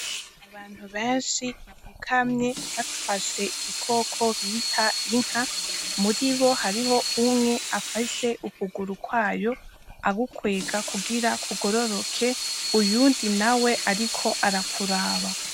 Abantu benshi bapfukanye bafashe igikoko bita Inka haruwufise ukuguru kw'ayo agukwega kugira kugororoke uyundi nawe ariko arakuraba.